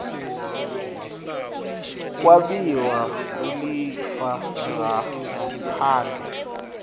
kwabiwa kwelifa ngaphandle